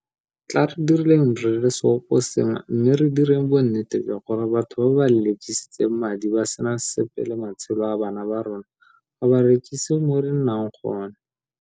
Tla re direng re le seoposengwe mme re direng bonnete jwa gore batho ba ba lelekisitseng madi ba sena sepe le matshelo a bana ba rona ga ba rekise mo re nnang gone.